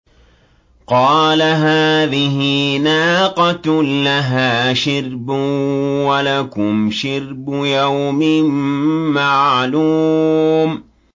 قَالَ هَٰذِهِ نَاقَةٌ لَّهَا شِرْبٌ وَلَكُمْ شِرْبُ يَوْمٍ مَّعْلُومٍ